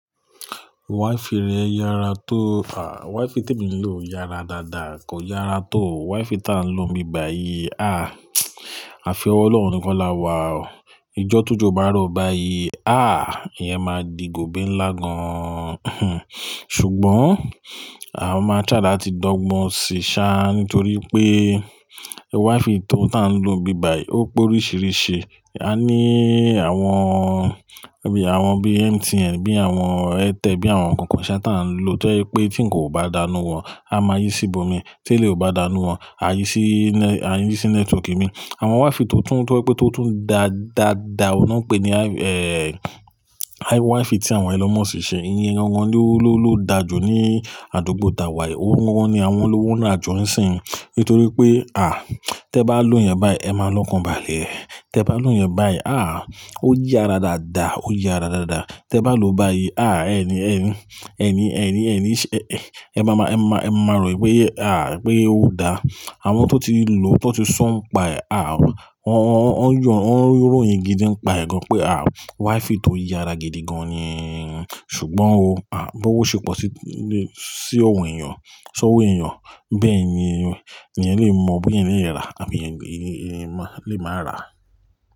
Wi-Fi rẹ yára tó. À, Wi-Fi tí mo ń lò yára dáadáa, kò yára tó Wi-Fi tí à ń lò nígbà yìí. À, àfi ọwọ́ Ọlọ́run nìkan la wà o. Ìjọ́ t'ójọ bá rọ̀ báyìí, à, ìyẹn máa di gòbé ńlá gan an. Hn, ṣùgbọ́n mo máa n try lati dọ́gbọ́n sì sá nítorí pé Wi-Fi tó ta ń lò níbàyi yìí ó pé oríṣìíríṣìí. A ní àwọn, bí i àwọn bíi MTN, bí i àwọn Airtel, bí i àwọn kankan saa tá ń lò tó ba je pé tí ń kan o bá da nú wọn, a máa yí síbò mi. Tí elèyii o bá danú wọn, a yí sí ne-a yí sí nẹ́tíwọ́ọ̀kì mi. Àwọn Wi-Fi tó tún tó ẹ pé tó tún dá dáadáa, ọ́hun lo ń pè ní, ẹ, Wi-Fi tí àwọn ẹlon muski ń ṣe. Iye gangan ni ó lo-ló dàju ní àdúgbò ta wa yìí. Oun gangan ni àwọn olówó ńu ajo nísìnyí. Nítorí pé, à, tẹ bá lò ìyẹn báyìí, ẹ máa lọ́kùnbalẹ̀. Tẹ bá lò ìyẹn báyìí, à, ó yára dáadáa, ó yára dáadáa. Tẹ bá lò ó báyìí, à, ẹni, ẹni, ẹni, ẹni, ẹni, ẹ máa ma, ẹ máa ma rò pé, à, pé ó dáa. Àwọn tó ti lò ó, tó ti so n pa è, à, wọ́n ń yọ, wọ́n ń ròyìn gidi ń pa ẹ̀ gan pé à, Wi-Fi tó yára gidi gan ni. Ṣùgbọ́n o, à, b'owo ṣe pọ̀ sí, sí ọ̀wọ̀ èèyàn, sówó èèyàn, bẹ́ẹ̀ ni èèyàn lè mọ bí ẹni yẹn rà àbi ẹeyan lè máa rà.